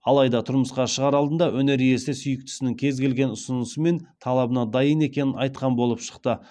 алайда тұрмысқа шығар алдында өнер иесі сүйіктісінің кез келген ұсынысы мен талабына дайын екенін айтқан болып шықты